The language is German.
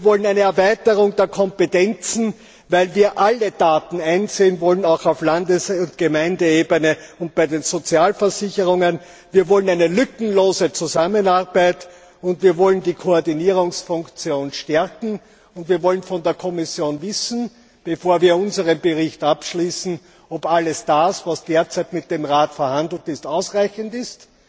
Wir wollen eine Erweiterung der Kompetenzen, weil wir alle Daten einsehen wollen, auch auf Landes und Gemeindeebene und bei den Sozialversicherungen. Wir wollen eine lückenlose Zusammenarbeit, wir wollen die Koordinierungsfunktion stärken, und wir wollen von der Kommission wissen, bevor wir unseren Bericht abschließen, ob alles, was derzeit mit dem Rat vereinbart ist, ausreichend ist.